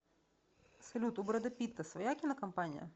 салют у брэда питта своя кинокомпания